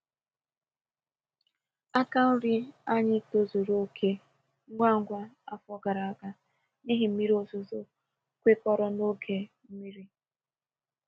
Aka nri anyị tozuru oke ngwa ngwa afọ gara aga n’ihi mmiri ozuzo kwekọrọ n’oge mmiri.